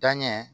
Danɲɛ